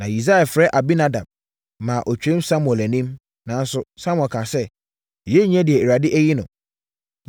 Na Yisai frɛɛ Abinadab maa ɔtwaam Samuel anim. Nanso, Samuel kaa sɛ, “Yei nyɛ deɛ Awurade ayi no.”